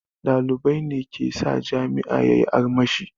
Ɗalibai ne ke sa jami'a yayi armashi